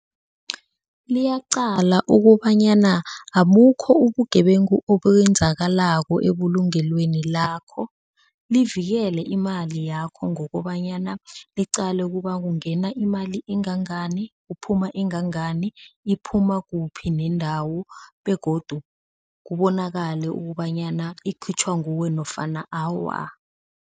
Liyaqala ukobanyana abukho ubugebengu okwenzakalako ebulungelweni lakho. Livikele imali yakho ngokobanyana liqale kuba kungena imali engangani, kuphuma engangani, iphuma kuphi nendawo begodu kubonakale ukobanyana ikhitjhwa nguwe nofana awa.